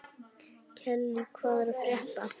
Kellý, hvað er að frétta?